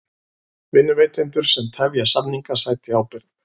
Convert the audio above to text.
Vinnuveitendur sem tefja samninga sæti ábyrgð